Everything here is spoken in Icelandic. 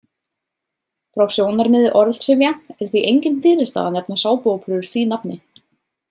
Frá sjónarmiði orðsifja er því engin fyrirstaða að nefna sápuóperur því nafni.